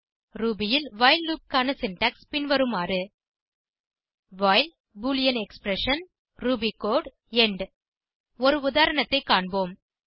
Ruby ல் while loop க்கான syntax பின்வருமாறு while boolean expression Ruby code end ஒரு உதாரணத்தை காண்போம்